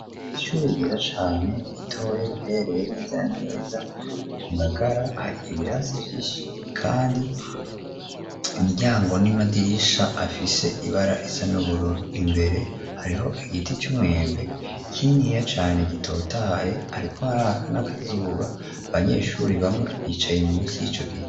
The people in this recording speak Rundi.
ishuri ryiza cane, ritoyi rihereye neza neza mungagara ,hari ibirasi vyinshi kandi imiryango n'imadirisha afise ibara risa n'ubururu, imbere hariho igiti c'umwembe kininiya cane ,gitotahaye ,ariko hariaka nakazuba, abanyeshuri bamwe bicaye umunsi yicogiti